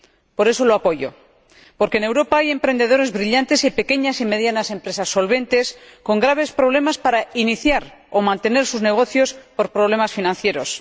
Por eso lo apoyo, porque en Europa hay emprendedores brillantes y pequeñas y medianas empresas solventes, con graves problemas para iniciar o mantener sus negocios por problemas financieros.